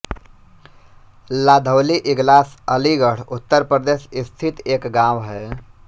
लाधौली इगलास अलीगढ़ उत्तर प्रदेश स्थित एक गाँव है